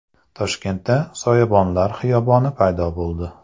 Toshkentda soyabonlar xiyoboni paydo bo‘ldi.